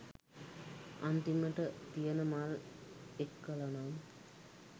අන්තිමට තියන මල් එක්කලනම්